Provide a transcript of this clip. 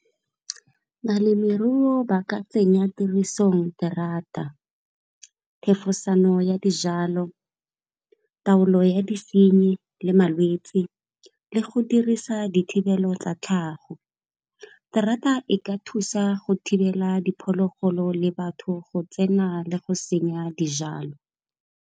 Balemirui ba ka tsenya tirisong terata, thefosano ya dijalo, taolo ya disenyi le malwetsi le go dirisa dithibelo tsa tlhago. Terata e ka thusa go thibela diphologolo le batho go tsena le go senya dijalo.